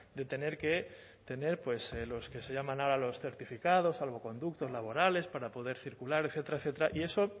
de tener que tener pues lo que se llaman ahora los certificados salvoconductos laborales para poder circular etcétera etcétera y eso